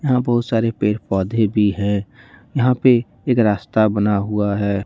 यहां बहुत सारे पेड़ पौधे भी हैं यहां पे एक रास्ता बना हुआ है।